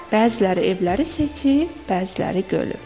Bəziləri evləri seçir, bəziləri gölü.